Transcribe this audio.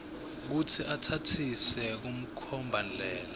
kutsi utsatsise kumkhombandlela